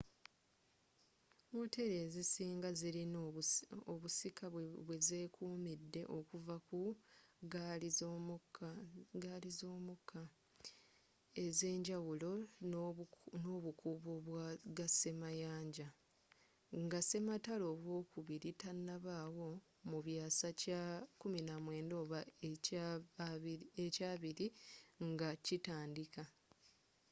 wooteri ezisinga zirina obusika bwe zekumidde okuva ku ggaali z'omukka ezenjawulo n'obukuubo bwa gasemayanja nga sematalo owokubiri tanabaawo mu byasa kya 19 oba ekya 20 nga kitandika